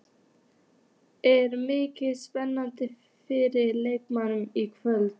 Er mikil spenna fyrir leiknum í kvöld?